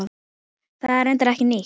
Það er reyndar ekki nýtt.